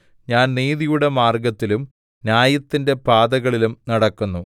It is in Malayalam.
ഞാൻ നീതിയുടെ മാർഗ്ഗത്തിലും ന്യായത്തിന്റെ പാതകളിലും നടക്കുന്നു